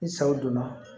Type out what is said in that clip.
Ni saw donna